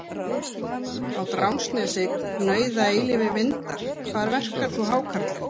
Á Drangsnesi gnauða eilífir vindar Hvar verkar þú hákarlinn?